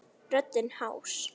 Röddin hás.